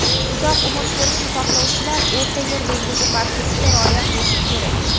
uzoq umr ko‘rishni xohlovchilar O‘rta yer dengizi parheziga rioya qilishi kerak.